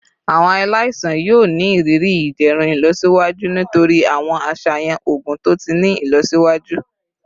Awọn alaisan yoo ni iriri iderun ilọsiwaju nitori awọn aṣayan oogun to ti ni ilọsiwaju